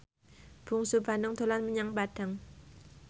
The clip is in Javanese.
Bungsu Bandung dolan menyang Padang